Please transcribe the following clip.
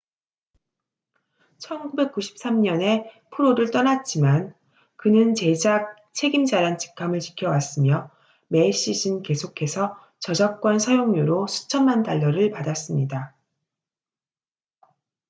1993년에 프로를 떠났지만 그는 제작 책임자란 직함을 지켜왔으며 매 시즌 계속해서 저작권 사용료로 수천만 달러를 받았습니다